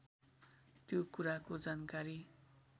त्यो कुराको जानकारी